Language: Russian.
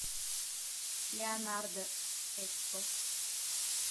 леонардо экспо